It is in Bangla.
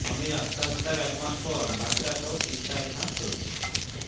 স্বামীর আত্মহত্যার এক মাস পর বাচ্চাসহ তিস্তায় ঝাঁপ তরুণীর